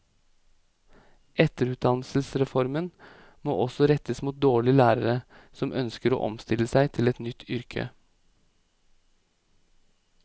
Etterutdannelsesreformen må også rettes mot dårligere lærere som ønsker å omstille seg til et nytt yrke.